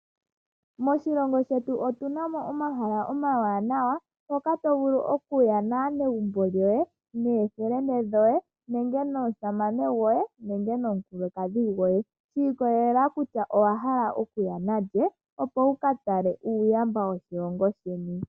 Moshilongo shetu otu namo omahala omawanawa hoka tovulu oku ya naanegumbo yoye, nookuume koye, nomusamane nenge nomukulukadhi gwoye. Oshi ikolelq kutya owa hala okunya nalye opo wukatale uuyamba woshilongo sheni.